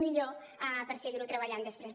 millor per seguir ho treballant després